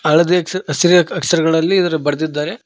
ಹಳದಿ ಅಕ್ಷ್ ಅಕ್ಷರಗಳಲ್ಲಿ ಇದನ್ನ ಬರ್ದಿದ್ದಾರೆ.